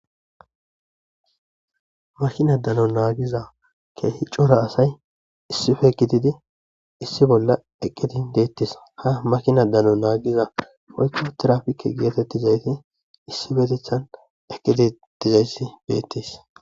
Makinadano naagiza keehi cora asay issife gididi issi bolla eqqidin deettis ha makina dano naagiza foykko trafike geetettizayti issibetethan eqqedi dizayssi beettis